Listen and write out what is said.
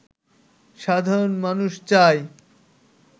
সাধারণ মানুষ চায়